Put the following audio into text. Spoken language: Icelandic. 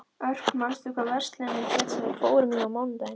Örk, manstu hvað verslunin hét sem við fórum í á mánudaginn?